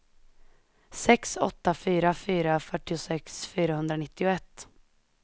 sex åtta fyra fyra fyrtiosex fyrahundranittioett